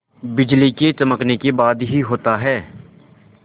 बिजली के चमकने के बाद ही होता है